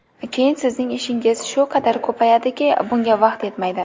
Keyin sizning ishingiz shu qadar ko‘payadiki, bunga vaqt yetmaydi.